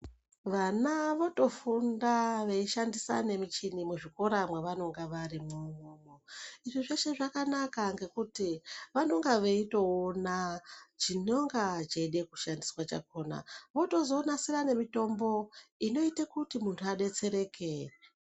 Vana votofunda veishandisa nemichini muzvikora mwavanenge varimwo izvo zveshe zvakanaka mgekuti vanenge veitoona chinonga cheida kushandiswa chakona votozonasira nemitomba inoita kuyo muntu adetsereke.